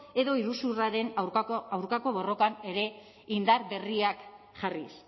edo iruzurraren aurkako borrokan ere indar berriak jarriz